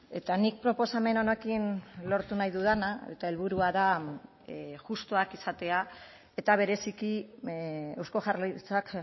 eta nik proposamen honekin lortu nahi dudana eta helburua da justuak izatea eta bereziki eusko jaurlaritzak